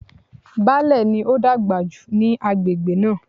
Baálẹ̀ ni ó dàgbà jù ní agbègbè náà.